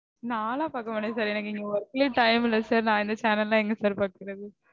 நான்லாம் பார்க்க மாட்டேன் sir. எனக்கு இங்க work லயும் time இல்ல sir நா இந்த channel லாம் எங்க sir பாக்கறது